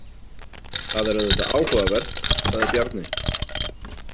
Það er auðvitað áhugavert, sagði Bjarni.